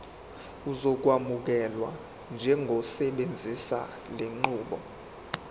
uzokwamukelwa njengosebenzisa lenqubo